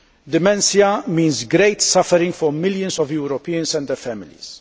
Dementia means great suffering for millions of Europeans and their families.